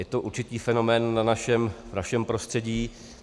Je to určitý fenomén v našem prostředí.